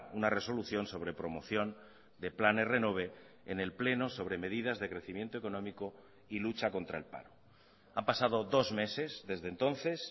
una resolución sobre promoción de planes renove en el pleno sobre medidas de crecimiento económico y lucha contra el paro han pasado dos meses desde entonces